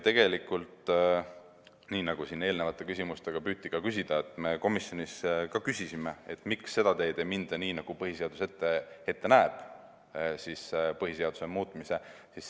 Tegelikult nii, nagu siin eelnevate küsimustega püüti ka küsida, me komisjonis ka küsisime, miks ei minda seda teed, nagu põhiseadus põhiseaduse muutmist ette näeb.